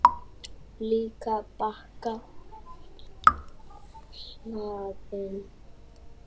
Líka bakka hlaðinn krásum.